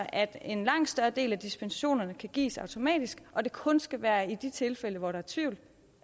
at en langt større del af dispensationerne kan gives automatisk og at det kun skal være i de tilfælde hvor der er tvivl